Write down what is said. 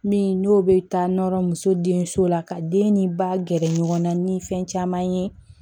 Min n'o bɛ taa nɔrɔ muso denso la ka den ni ba gɛrɛ ɲɔgɔn na ni fɛn caman ye